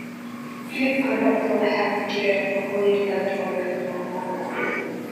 Hilibka lo'da waxaa ku jira nafaqooyin badan oo lagama maarmaan ah.